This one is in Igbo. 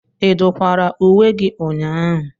Ị dụkwara uwe gị ụnyahụ?